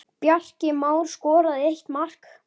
Bjarki Már skoraði eitt mark.